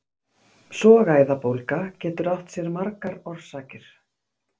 sogæðabólga getur átt sér margar orsakir